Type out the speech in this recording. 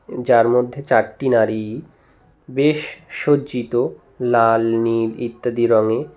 যার মধ্যে চারটি নারী বেশ সজ্জিত লাল নীল ইত্যাদি রঙে।